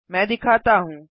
मैं दिखाता हूँ